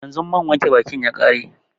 Yanzu man wanke bakin ya ƙare